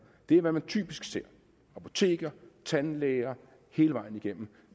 det er hvad man typisk ser apoteker tandlæger hele vejen igennem